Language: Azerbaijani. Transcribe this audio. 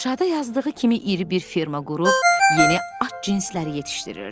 İnşada yazdığı kimi iri bir firma qurub yeni at cinsləri yetişdirirdi.